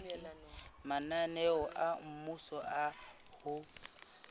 mananeo a mmuso a ho